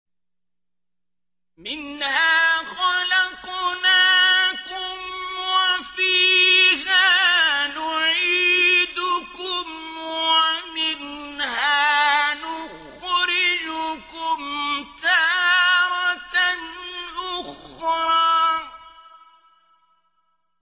۞ مِنْهَا خَلَقْنَاكُمْ وَفِيهَا نُعِيدُكُمْ وَمِنْهَا نُخْرِجُكُمْ تَارَةً أُخْرَىٰ